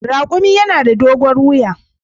Raƙumi yana da dogon wiya.